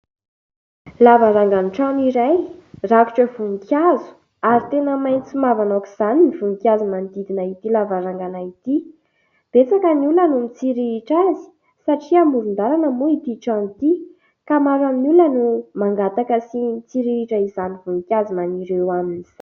lavarangan'ny trano iray rakotra voninkazo ary tena maintso mavana aok'izany ny voninkazo manodidina ity lavarangana ity betsaka ny olona no mitsiriritra azy satria amoron-dalana moa ity trano ity ka maro amin'ny olona no mangataka sy mitsiriritra izany voninkazo maniry eo aminy